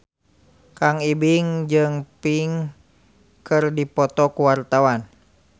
Kang Ibing jeung Pink keur dipoto ku wartawan